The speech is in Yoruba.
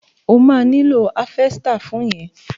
O máa nílò háfẹ́stà fún yẹn.